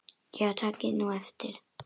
Já takið nú eftir.